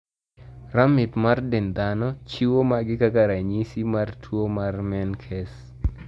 Ramip mar dend dhano chiwo magi kaka ranyisi mar tuo mar menkes.